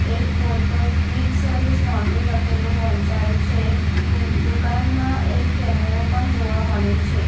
એક બોર્ડ પર quick service laundry લખેલું વંચાય છે દુકાનમાં એક કેમેરો પણ જોવા મળે છે.